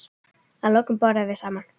Að lokum borðum við saman.